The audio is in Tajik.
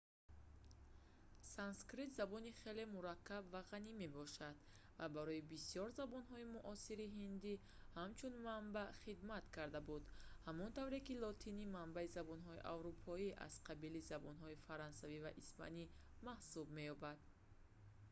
санскрит забони хеле мураккаб ва ғанӣ мебошад ва барои бисёр забонҳои муосири ҳиндӣ ҳамчун манбаъ хидмат карда буд ҳамон тавре ки лотинӣ манбаи забонҳои аврупоӣ аз қабили забонҳои фаронсавӣ ва испанӣ маҳсуб меёбад